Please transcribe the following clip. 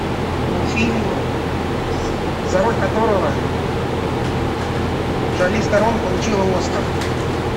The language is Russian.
фильм за роль которого шарлиз терон получила оскар